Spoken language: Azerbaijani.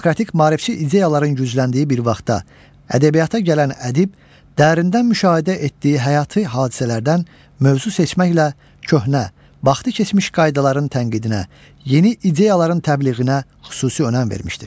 Demokratik maarifçi ideyaların gücləndiyi bir vaxtda ədəbiyyata gələn ədib dərindən müşahidə etdiyi həyati hadisələrdən mövzu seçməklə köhnə, baxtı keçmiş qaydaların tənqidinə, yeni ideyaların təbliğinə xüsusi önəm vermişdir.